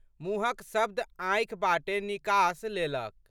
मुँहक शब्द आँखि बाटे निकास लेलक।